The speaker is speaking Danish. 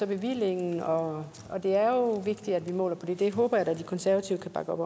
bevillingen og det er jo vigtigt at vi måler på det det håber jeg da de konservative kan bakke op